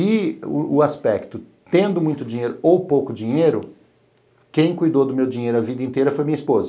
E o aspecto, tendo muito dinheiro ou pouco dinheiro, quem cuidou do meu dinheiro a vida inteira foi minha esposa.